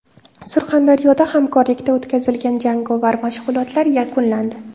Surxondaryoda hamkorlikda o‘tkazilgan jangovar mashg‘ulotlar yakunlandi.